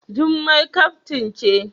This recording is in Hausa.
Jummai kaftin ce.